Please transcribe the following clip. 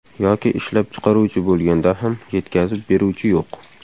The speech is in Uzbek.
Yoki ishlab chiqaruvchi bo‘lganda ham yetkazib beruvchi yo‘q.